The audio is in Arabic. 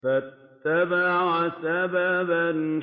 فَأَتْبَعَ سَبَبًا